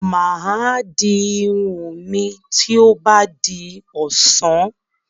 Mà á di irun mi tó bá di ọ̀sán.